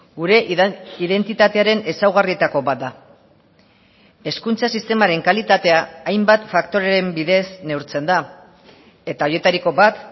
gure identitatearen ezaugarrietako bat da hezkuntza sistemaren kalitatea hainbat faktoreren bidez neurtzen da eta horietariko bat